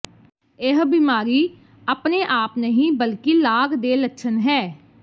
ਇਹ ਬਿਮਾਰੀ ਆਪਣੇ ਆਪ ਨਹੀਂ ਬਲਕਿ ਲਾਗ ਦੇ ਲੱਛਣ ਹੈ